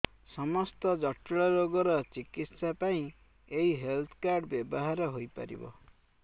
ସମସ୍ତ ଜଟିଳ ରୋଗର ଚିକିତ୍ସା ପାଇଁ ଏହି ହେଲ୍ଥ କାର୍ଡ ବ୍ୟବହାର ହୋଇପାରିବ